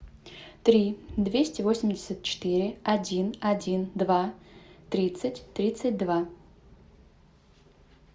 три двести восемьдесят четыре один один два тридцать тридцать два